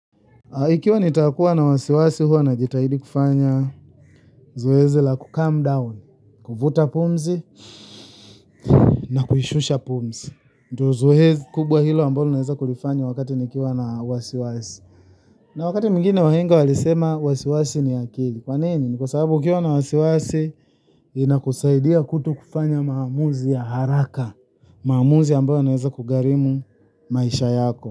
Ikiwa nitakuwa na wasiwasi huwa najitahidi kufanya zoezi la kucalm down, kuvuta pumzi na kuhishusha pumzi. Ndo zoezi kubwa hilo ambalo naweza kulifanya wakati nikiwa na wasiwasi. Na wakati mwingine wahenga walisema wasiwasi ni akili. Kwa nini? Kwa sababu ukiwa na wasiwasi inakusaidia kuto kufanya maamuzi ya haraka. Maamuzi ambayo yanaweza kugharimu maisha yako.